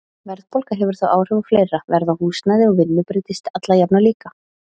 Verðbólga hefur þó áhrif á fleira, verð á húsnæði og vinnu breytist alla jafna líka.